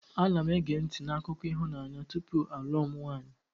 Ana m ege ntị n'akụkọ ịhụnanya tupu m alụọ nwanyị.